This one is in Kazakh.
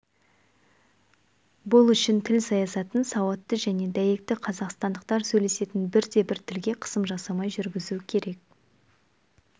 бұл үшін тіл саясатын сауатты және дәйекті қазақстандықтар сөйлесетін бірде-бір тілге қысым жасамай жүргізу керек